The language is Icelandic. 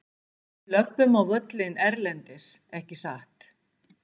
Við löbbum á völlinn erlendis ekki satt?